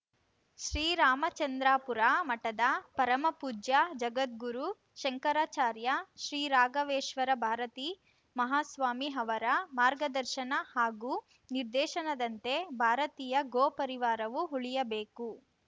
ಶ್ರೀರಾಮಚಂದ್ರಾಪುರ ಮಠದ ಪರಮಪೂಜ್ಯ ಜಗದ್ಗುರು ಶಂಕರಾಚಾರ್ಯ ಶ್ರೀ ರಾಘವೇಶ್ವರಭಾರತಿ ಮಹಾಸ್ವಾಮಿ ಅವರ ಮಾರ್ಗದರ್ಶನ ಹಾಗೂ ನಿರ್ದೇಶನದಂತೆ ಭಾರತೀಯ ಗೋ ಪರಿವಾರವು ಉಳಿಯಬೇಕು